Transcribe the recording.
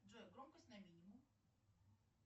джой громкость на минимум